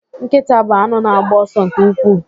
Nkịta bụ anụ na-agba ọsọ nke ukwuu.